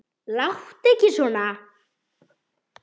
Láttu ekki svona